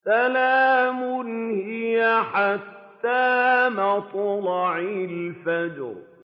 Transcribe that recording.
سَلَامٌ هِيَ حَتَّىٰ مَطْلَعِ الْفَجْرِ